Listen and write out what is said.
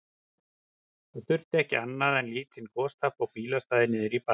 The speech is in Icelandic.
Það þurfti ekki annað en lítinn gostappa á bílastæði niðri í bæ.